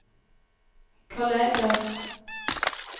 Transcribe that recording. kolleger